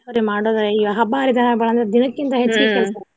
ಇರ್ತಾವ್ರಿ ಮಾಡೋದ ಈಗ ಹಬ್ಬ ಹರಿದಿನ ಬಂದ್ರ ದಿನಕ್ಕಿಂತ ಹೆಚ್ಚಗಿ ಕೆಲ್ಸ